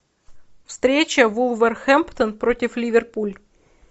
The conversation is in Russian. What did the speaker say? встреча вулверхэмптон против ливерпуль